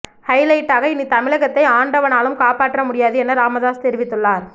high light ட்டாக இனி தமிழகத்தை ஆண்டவனாலும் காப்பாற்ற முடியாது என ராமதாஸ் தெரிவித்துள்ளார்